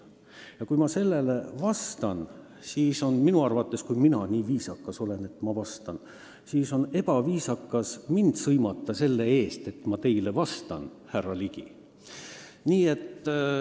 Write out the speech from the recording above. Ja kui ma sellisele küsimusele vastan ja viisakas olen, siis minu arvates on ebaviisakas mind sõimata selle eest, härra Ligi, et ma teile vastan.